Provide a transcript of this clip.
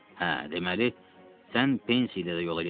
Hə, deməli, sən pensiya ilə də yola getmədin.